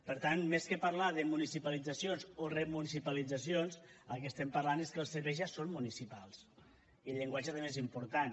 per tant més que parlar de municipalitzacions o remunicipalitzacions el que estem parlant és que els serveis ja són municipals i el llenguatge també és important